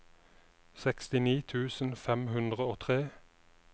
sekstini tusen fem hundre og tre